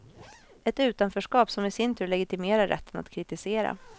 Ett utanförskap som i sin tur legitimerar rätten att kritisera.